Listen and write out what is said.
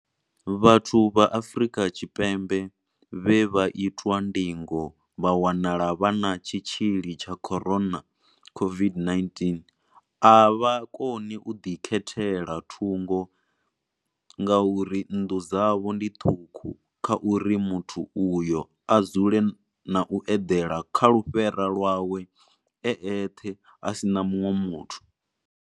Vhathu vha Afrika Tshipembe vhe vha itwa ndingo vha wanala vha na tshitzhili tsha corona COVID-19 a vha koni u ḓikhethela thungo ngauri nnḓu dzavho ndi ṱhukhu kha uri muthu uyo a dzule na u eḓela kha lufhera lwawe e eṱhe a si na muṅwe muthu.